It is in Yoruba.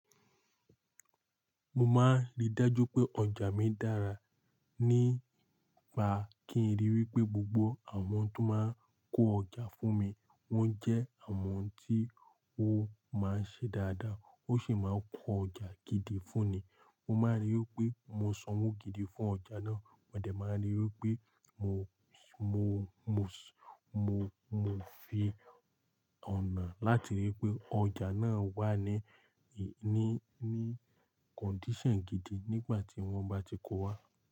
Mo máa ń rí dájú pé ọjà mi dára, p nípa kí n ríi wí pé gbogbo àwọn tó máa ń kó ọjà fún mi wọ́n jẹ́ àwọn tí ó máa ń ṣe dáadáa. Ó sì máa ń kó ọjà gidi fún ni. Mo máa ń rí i pé mo sanwó gidi fún ọjà náà. Mọ̀dẹ́ máa ń rí i pé mo, mo, mo, mo, mo fi ọ̀nà láti ríi pé ọjà náà wà ní, ní, ní condition gidi nígbà tí wọ́n bá ti kó o wá.